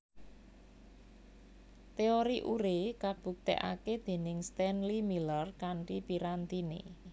Teori Urey kabuktèkaké déning Stainléy Miller kanthi pirantiné